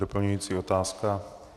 Doplňující otázka.